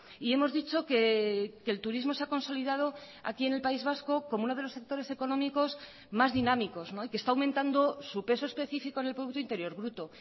y hemos dicho que el turismo se ha consolidado aquí en el país vasco como uno de los sectores económicos más dinámicos y que está aumentando su peso especifico en el producto interior bruto